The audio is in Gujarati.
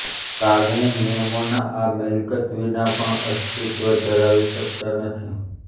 લાગણી નિયમોના આ મિલકત વિના પણ અસ્તિત્વ ધરાવી શકતા નથી